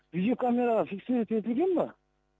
видеокамераға фиксировать етілген ба